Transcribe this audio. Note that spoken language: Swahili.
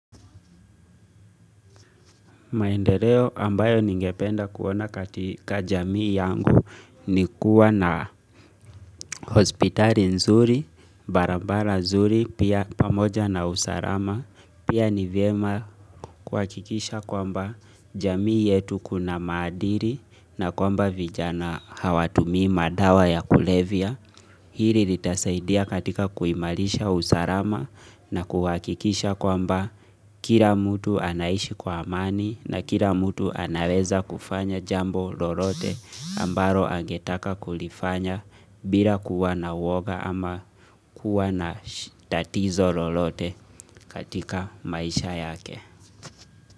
Maendeleo ambayo ningependa kuona katika jamii yangu ni kuwa na hospitali nzuri, barabara nzuri, pia pamoja na usarama. Pia ni viema kwa hakikisha kwamba jamii yetu kuna madiri na kwamba vijana hawatumi madawa ya kulevia. Hili litasaidia katika kuimalisha usarama na kuhakikisha kwamba kila mtu anaishi kwa amani na kila mtu anaweza kufanya jambo lolote ambaro angetaka kulifanya bila kuwa na woga ama kuwa na tatizo lorote katika maisha yake.